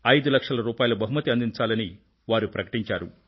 5 లక్షల బహుమతి అందించాలని వారు ప్రకటించారు